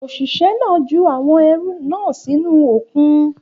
Òṣìṣẹ́ náà ju àwọn ẹrù náà sínú òkun